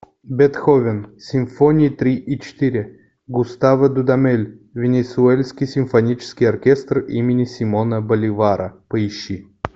бетховен симфония три и четыре густаво дудамель венесуэльский симфонический оркестр имени симона боливара поищи